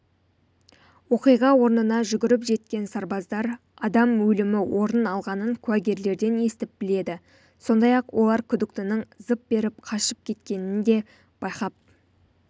оқиға орнына жүгіріп жеткен сарбаздар адам өлімі орын алғанын куәгерлерден естіп біледі сондай-ақ олар күдіктінің зып беріп қашып кеткенін де байқап